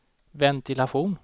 ventilation